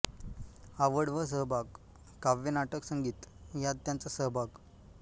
आवड व सहभाग काव्य नाटक संगीत यात त्यांचा सहभाग